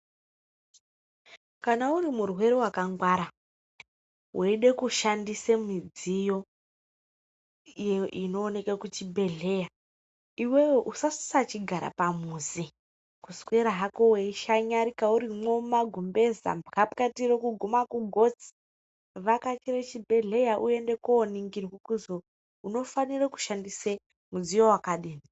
Kana uri murwere wakangwara weide kushandise midziyo inooneke kuchibhedhlera. Iwewe usasachigara pamuzi, kuswera hako weishanyarika urimwo mumagumbeze, mbwapwatiro kuguma kugotsi. Vhakachire chibhedhleya uende kooningirwa kuzwi unofanira kushandisa mudziyo wakadini.